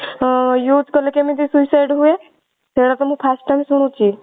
ହଁ use କଲେ କେମିତି suicide ହୁଏ? ସେଇଟା ତ ମୁଁ first time ଶୁଣୁଛି